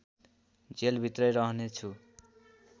जेलभित्रै रहनेछु